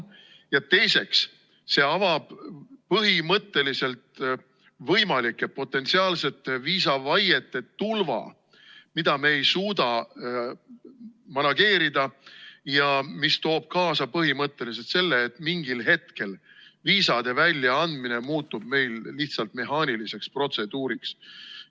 Ja teiseks, see avab põhimõtteliselt võimalike potentsiaalsete viisavaiete tulva, mida me ei suuda manageerida ja mis toob kaasa põhimõtteliselt selle, et mingil hetkel viisade väljaandmine muutub meil lihtsalt mehaaniliseks protseduuriks.